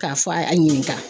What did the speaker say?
K'a fɔ, a ɲininga